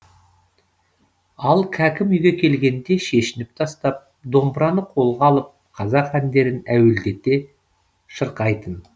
ал кәкім үйге келгенде шешініп тастап домбыраны қолға алып қазақ әндерін әуелдете шырқайтын